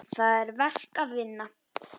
Það er verk að vinna.